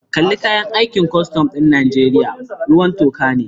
Kalar kayan aikin kwastam ɗin Najeriya ruwan toka ne